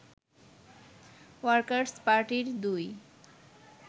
workers পার্টির ২